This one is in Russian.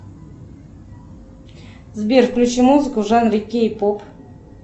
сбер включи музыку в жанре кей поп